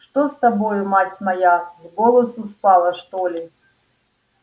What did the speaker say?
что с тобою мать моя с голосу спала что ли